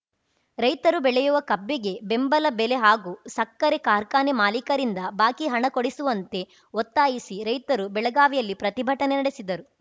ರೈತರು ಬೆಳೆಯುವ ಕಬ್ಬಿಗೆ ಬೆಂಬಲ ಬೆಲೆ ಹಾಗೂ ಸಕ್ಕರೆ ಕಾರ್ಖಾನೆ ಮಾಲೀಕರಿಂದ ಬಾಕಿ ಹಣ ಕೊಡಿಸುವಂತೆ ಒತ್ತಾಯಿಸಿ ರೈತರು ಬೆಳಗಾವಿಯಲ್ಲಿ ಪ್ರತಿಭಟನೆ ನಡೆಸಿದರು